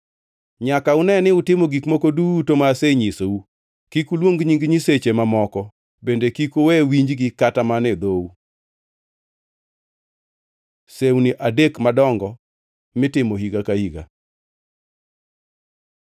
“Nyaka une ni utimo gik moko duto ma asenyisou. Kik uluong nying nyiseche mamoko; bende kik uwe winjgi kata mana e dhou. Sewni adek madongo mitimo higa ka higa